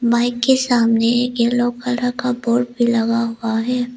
Bike के सामने एक येलो कलर का बोर्ड भी लगा हुआ है।